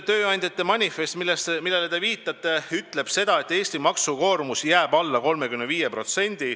Tööandjate manifest, millele te viitasite, ütleb seda, et Eesti maksukoormus jääb alla 35%.